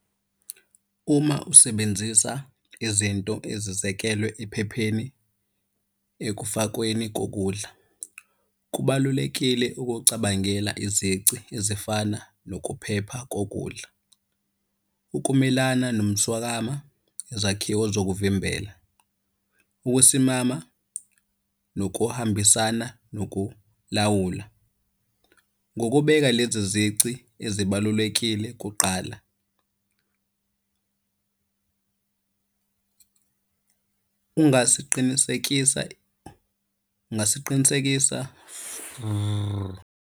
Uma usebenzisa izinto ezizekelwe ephepheni ekufakweni kokudla. Kubalulekile ukucabangela izici ezifana nokuphepha kokudla. Ukumelana nomswakama, izakhiwo zokuvimbela. Ukusimama nokuhambisana nokulawula. Ngokubeka lezi zici ezibalulekile kuqala, ungasiqinisekisa, ungasiqinisekisa .